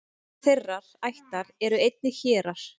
innan þeirrar ættar eru einnig hérar